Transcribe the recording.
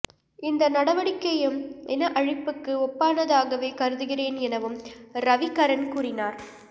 இந்த நடவடிக்கையையும் இன அழிப்புக்கு ஒப்பானதாகவே கருதுகிறேன் எனவும் ரவிகரன் கூறினார்